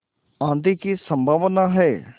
आँधी की संभावना है